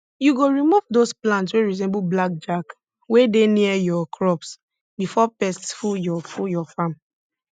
you go remove dose plants wey resemble black jack wey dey near your crops before pests full your full your farm